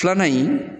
Filanan in